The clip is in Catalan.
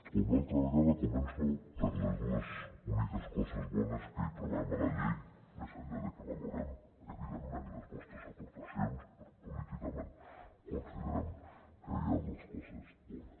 com l’altra vegada començo per les dues úniques coses bones que hi trobem a la llei més enllà de que valorem evidentment les vostres aportacions però políticament considerem que hi ha dues coses bones